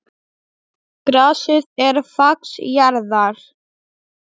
Grasið er fax jarðar.